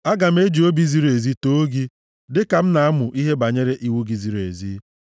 Aga m eji obi ziri ezi too gị dịka m na-amụ ihe banyere iwu gị ziri ezi.